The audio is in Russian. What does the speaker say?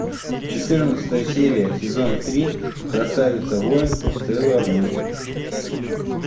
четырнадцатая серия сезон три красавица воин сейлор мун